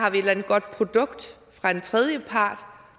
et eller andet godt produkt fra en tredjepart